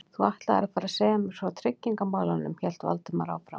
Þú ætlaðir að fara að segja mér frá tryggingamálunum- hélt Valdimar áfram.